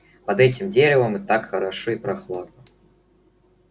под этим деревом так хорошо и прохладно